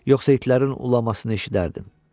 Yoxsa itlərin ulamasını eşidərdin.